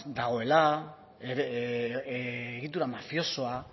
dagoela egitura mafiosoa